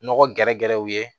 Nɔgɔ gɛrɛgɛrɛw ye